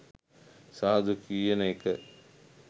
සාදු කියන එක